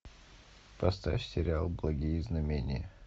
поставь сериал благие знамения